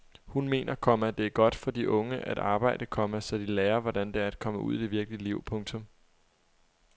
Hun mener, komma det er godt for de unge at arbejde, komma så de lærer hvordan det er at komme ud i det virkelige liv. punktum